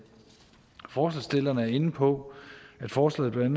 forslagsstillerne er inde på at forslaget blandt